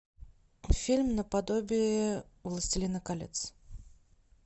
фильм наподобие властелина колец